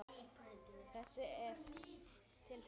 Þetta er til þín